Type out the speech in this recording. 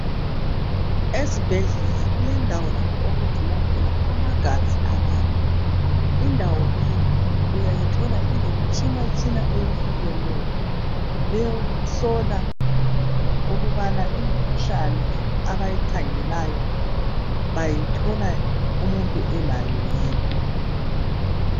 Ezibhedlela kulendawo lapho okugcinwa khona amagazi abantu. Indawo leyi uyayithola ilemitshinatshina eyehlukeneyo ,eyokuhlola ukubana imkhuhlane abayikhageleyo bayithola umuntu elawo yini.